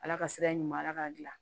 Ala ka sira in ma ala k'a dilan